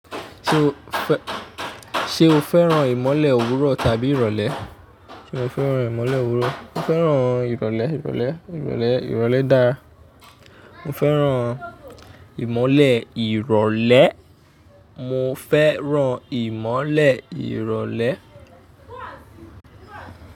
Ṣé o fẹ́, ṣé o fẹ́ràn ìmọ́lẹ̀ òwúrọ̀ tàbí ìrọ̀lẹ́? Sé mo fẹ́ràn ìmọ́lẹ̀ òwúrọ̀? Mo fẹ́ràn ìrọ̀lẹ́, ìrọ̀lẹ́, ìrọ̀lẹ́, ìrọ̀lẹ́ dára. Mo fẹ́ràn ìmọ́lẹ̀ ìrọ̀lẹ́. Mo fẹ́ràn ìmọ́lẹ̀ ìrọ̀lẹ́.